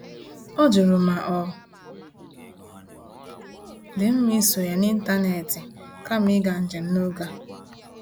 Ọ jụrụ ma ọ dị mma isonye n’ịntanetị kama ịga njem n'oge a.